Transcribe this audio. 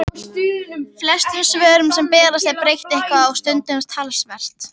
Flestum svörum sem berast er breytt eitthvað og stundum talsvert.